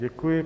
Děkuji.